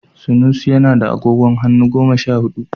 Sanusi yana da agogon hannu goma sha hudu